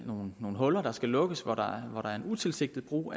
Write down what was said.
nogle huller der skal lukkes hvor der er en utilsigtet brug